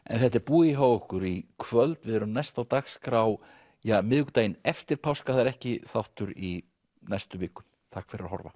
þetta er búið hjá okkur í kvöld við erum næst á dagskrá miðvikudaginn eftir páska það er ekki þáttur í næstu viku takk fyrir að horfa